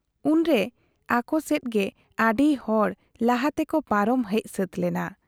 ᱩᱱᱨᱮ ᱟᱠᱚᱥᱮᱫᱤᱡᱜᱮ ᱟᱹᱰᱤ ᱦᱚᱲ ᱞᱟᱦᱟ ᱛᱮᱠᱚ ᱯᱟᱨᱚᱢ ᱦᱮᱡ ᱥᱟᱹᱛ ᱞᱮᱱᱟ ᱾